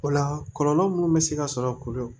O la kɔlɔlɔ minnu bɛ se ka sɔrɔ a kɔnɔ